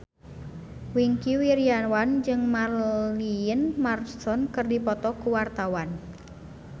Wingky Wiryawan jeung Marilyn Manson keur dipoto ku wartawan